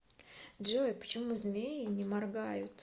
джой почему змеи не моргают